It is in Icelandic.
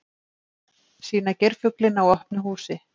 Sýna geirfuglinn á opnu húsi